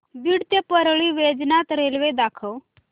बीड ते परळी वैजनाथ रेल्वे दाखव